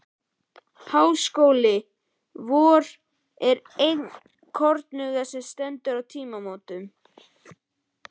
Háskóli vor er enn kornungur og stendur nú á tímamótum.